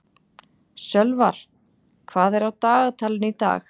Sölvar, hvað er á dagatalinu í dag?